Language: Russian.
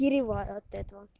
переворот этого